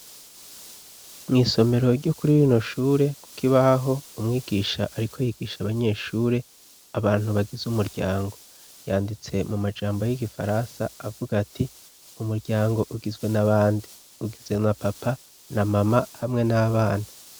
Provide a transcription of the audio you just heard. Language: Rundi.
Mw'isomero ryo kuri rino shure ku kibaho umwigisha ariko yigisha abanyeshure abantu bagize umuryango, yanditse mu majambo y'igifaransa avuga ati, umuryango ugizwe na bande, ugizwe na papa na mama hamwe n'abana.